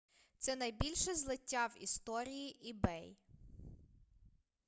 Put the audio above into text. це найбільше злиття в історії ebay